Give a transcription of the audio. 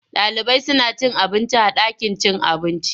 Ɗalibai suna cin abinci a ɗakin cin abinci.